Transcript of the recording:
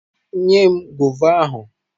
Nye m gova ahụ!